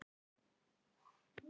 Tunga þín blaut.